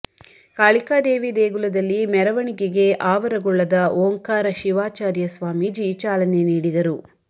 ಕಾಳಿಕಾ ದೇವಿ ದೇಗುಲದಲ್ಲಿ ಮೆರವಣಿಗೆಗೆ ಆವರಗೊಳ್ಳದ ಓಂಕಾರ ಶಿವಾಚಾರ್ಯ ಸ್ವಾಮೀಜಿ ಚಾಲನೆ ನೀಡಿದರು